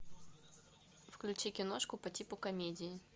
включи киношку по типу комедии